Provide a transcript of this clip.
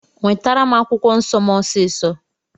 Nwetara m akwụkwọ nsọ m ọsisọ.